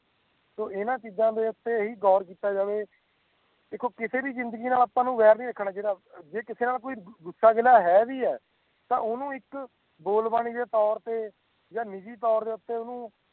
ਸੋ ਇਨ੍ਹਾਂ ਚੀਜ਼ ਉਤੇ ਗੋਰ ਕੀਤਾ ਜਾਵੇ ਦੇਖੋ ਕਿਸੇ ਵੀ ਜ਼ਿੰਦਗੀ ਨਾਲ ਵੇਰ ਨਹੀਂ ਰੱਖਣਾ ਚਾਹੀਦਾ ਹੈ ਜੇ ਕਿਸੇ ਨਾਲ ਗੁਸਾ ਗਿੱਲ ਹੈ ਵੀ ਹੈ ਤਾਂ ਓਹਨੂੰ ਇੱਕ ਬੋਲਬਾਣੀ ਦੇ ਤੋਰ ਤੇ ਯਾ ਨਿੱਜੀ ਤੋਰ ਤੇ ਓਹਨੂੰ